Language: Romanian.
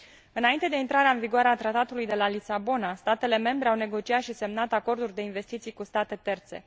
Înainte de intrarea în vigoare a Tratatului de la Lisabona, statele membre au negociat și semnat acorduri de investiții cu state terțe.